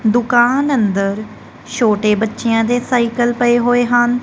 ਦੁਕਾਨ ਅੰਦਰ ਛੋਟੇ ਬਚੇਆਂ ਦੇ ਸਾਈਕਲ ਪਏ ਹੋਏ ਹਨ।